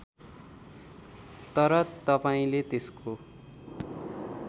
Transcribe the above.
तर तपाईँंले त्यसको